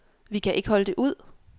Vi kan ikke holde det ud.